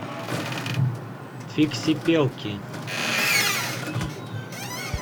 фиксипелки